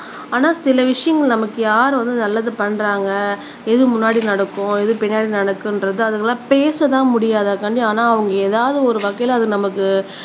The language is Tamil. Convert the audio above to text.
ஆனா சில விஷயங்கள் நமக்கு யார் வந்து நல்லது பண்றாங்க எது முன்னாடி நடக்கும் ஏது பின்னாடி நடக்குன்றது அதுக்கு பேசத்தான் முடியாது அதுக்காக ஆனா ஏதாவது ஒரு வகையில நமக்கு